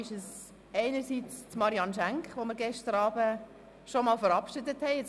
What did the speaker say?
Einerseits handelt es sich dabei um Marianne Schenk, die wir gestern Abend schon ein erstes Mal verabschiedet haben.